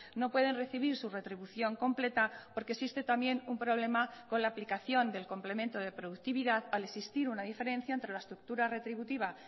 no pueden recibir su retribución completa porque existe también un problema con la aplicación del complemento de productividad al existir una diferencia entre la estructura retributiva